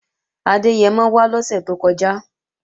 Adẹ́yẹmọ wá lọ́sè tó kọjá